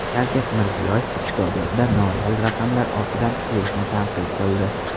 Shavkat Mirziyoyev iqtisodiyotda noreal raqamlar ortidan quvishni tanqid qildi.